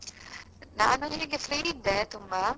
ನಾನು ಹೀಗೆ free ಇದ್ದೆ ತುಂಬಾ.